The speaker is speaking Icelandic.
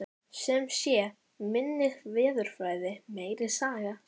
Sem sé, minni veðurfræði, meiri saga.